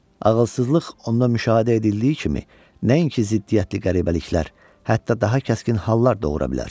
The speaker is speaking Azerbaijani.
Ağılsızlıq onda müşahidə edildiyi kimi, nəinki ziddiyyətli qəribəliklər, hətta daha kəskin hallar doğura bilər.